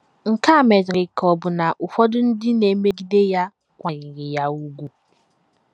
Nke a medịrị ka ọbụna ụfọdụ ndị na - emegide ya kwanyere ya ùgwù.